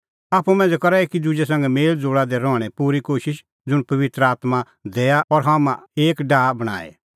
आप्पू मांझ़ै करा एकी दुजै संघै मेल़ज़ोल़ा दी रहणें पूरी कोशिश ज़ुंण पबित्र आत्मां दैआ और हाम्हां एक डाहा बणांईं